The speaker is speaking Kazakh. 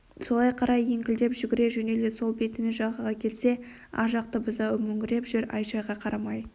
солай қарай еңкілдеп жүгіре жөнелді сол бетімен жағаға келсе ар жақта бұзауы мөңіреп жүр ай-шайға қарамай